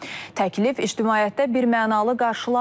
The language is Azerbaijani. Təklif ictimaiyyətdə birmənalı qarşılanmayıb.